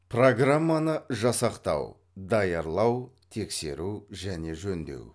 программаны жасақтау даярлау тексеру және жөндеу